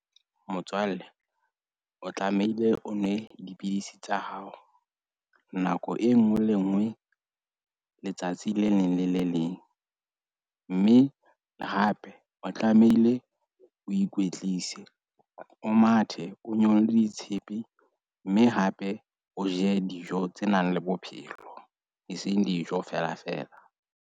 Motswalle, o tlamehile o nwe dipidisi tsa hao nako e nngwe le nngwe. Letsatsi le leng le le leng. Mme hape o tlamehile o ikwetlise, o mathe. O nyolle ditshepe. Mme hape o je dijo tse nang le bophelo, eseng dijo felafela.